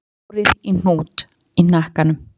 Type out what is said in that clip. Hún fléttaði hárið í hnút í hnakkanum